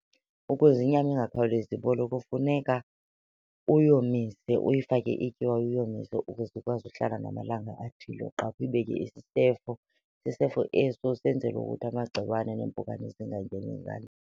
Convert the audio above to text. Ukuze inyama ingakhawulezi ibole kufuneka uyomise, uyifake ityiwa uyomise ukuze ikwazi uhlala namalanga athile. Uqale uyibeke isisefo, isisefo eso senzela ukuthi amagciwane neempukane zingangeni .